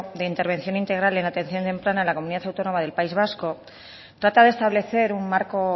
de intervención integral en atención temprana a la comunidad autónoma del país vasco trata de establecer un marco